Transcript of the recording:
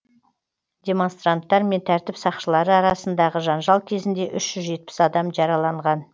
демонстранттар мен тәртіп сақшылары арасындағы жанжал кезінде үш жүз жетпіс адам жараланған